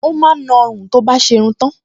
Ó máa ń na ọrùn tó bá ti ṣe irun